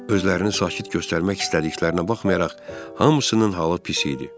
Özlərini sakit göstərmək istədiklərinə baxmayaraq, hamısının halı pis idi.